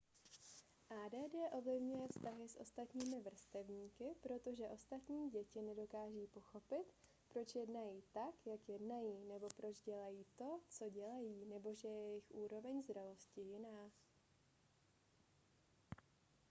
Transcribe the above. add ovlivňuje vztahy s ostatními vrstevníky protože ostatní děti nedokáží pochopit proč jednají tak jak jednají nebo proč dělají to co dělají nebo že je jejich úroveň zralosti jiná